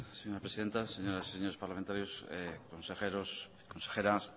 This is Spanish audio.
señora presidenta señoras y señores parlamentarios consejeros consejeras